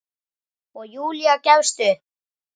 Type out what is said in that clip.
Og Júlía gefst upp.